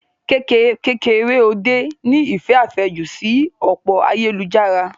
Kekereode ní ìfẹ́ àfẹ́jù sí òpó ayélujára.